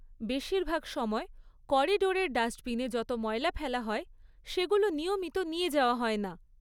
বেশিরভাগ সময় করিডরের ডাস্টবিনে যত ময়লা ফেলা হয়, সেগুলো নিয়মিত নিয়ে যাওয়া হয় না।